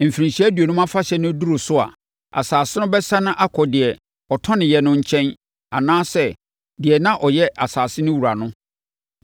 Mfirinhyia Aduonum Afahyɛ no duru so a, asase no bɛsane akɔ deɛ ɔtɔneɛ no nkyɛn anaasɛ deɛ na ɔyɛ asase no wura no.